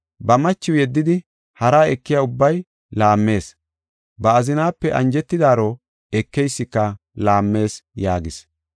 “Ba machiw yeddidi haraa ekiya ubbay laammees. Ba azinaape anjetidaaro ekeysika laammees” yaagis.